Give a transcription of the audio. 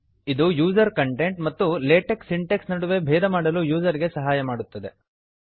ಇದು user content ಮತ್ತು LaTeX syntax ನಡುವೆ ಭೇದ ಮಾಡಲು ಯೂಸರ್ ಗೆ ಸಹಾಯ ಮಾಡುತ್ತದೆ